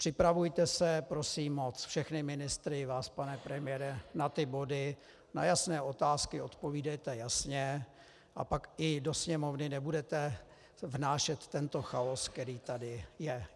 Připravujte se, prosím moc všechny ministry, i vás pane premiére, na ty body, na jasné otázky odpovídejte jasně a pak i do Sněmovny nebudete vnášet tento chaos, který tady je.